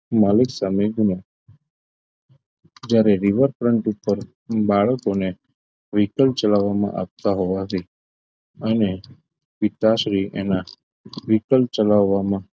માલિક સામે ગુનો જ્યારે river front ઉપર બાળકોને vehicle ચલાવવામાં આપતા હોવાથી અને પિતાશ્રી એના vehicle ચલાવવામાં